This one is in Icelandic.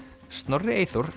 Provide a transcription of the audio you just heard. Snorri Eyþór